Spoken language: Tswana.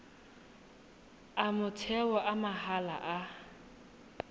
a motheo a mahala a